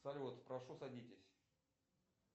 салют прошу садитесь